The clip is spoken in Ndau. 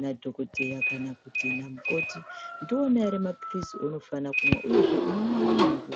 nadhokodheya kana kuti namukoti. Ndiwona here maphirizi ounofana kumwa, uyezve unomwamwa nguwai.